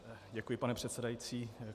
Děkuji, pane předsedající.